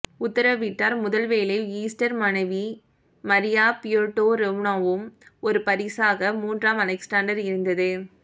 உத்தரவிட்டார் முதல் வேலை ஈஸ்டர் மனைவி மரியா பியோடொரொவ்னாவும் ஒரு பரிசாக மூன்றாம் அலெக்சாண்டர் இருந்தது